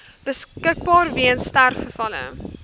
beskikbaar weens sterfgevalle